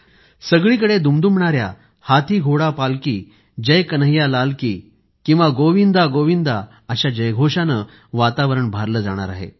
सगळीकडे दुमदुमणाऱ्या हाथी घोडा पालकी जय कन्हैयालाल की गोविंदागोविंदा अशा जयघोषानं वातावरण भारलं जाणार आहे